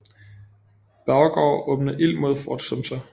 Beauregard åbende ild mod Fort Sumter